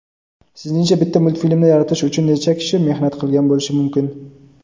Sizningcha bitta multfilmni yaratish uchun necha kishi mehnat qilgan bo‘lishi mumkin.